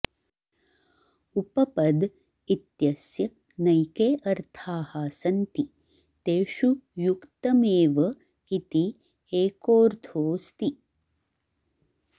उपपद् इत्यस्य नैके अर्थाः सन्ति तेषु युक्तमेव इति एकोऽर्थोऽस्ति